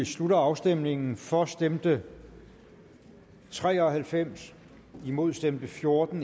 slutter afstemningen for stemte tre og halvfems imod stemte fjorten